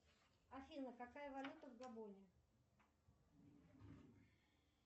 афина какая валюта в габоне